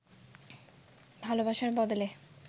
ভালদেসের বদলে